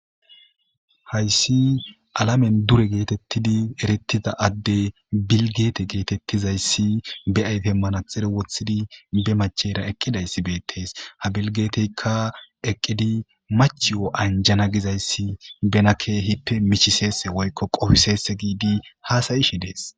hayssi alamen dure geetettidi erittiza adde bilgeete geetettizayssi beyayhemmana xire wothidi be machera eqqidayssi beettees ha bilgeeteykka eqqidi mach wo7anjana gizayssi benakkehippe mihiseese woykko qofiseese giidi haasayishe dees